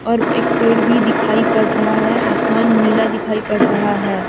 और एक पेड़ भी दिखाई पड़ रहा है आसमान नीला दिखाई पड़ रहा है।